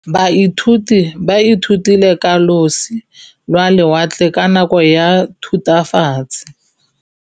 Baithuti ba ithutile ka losi lwa lewatle ka nako ya Thutafatshe.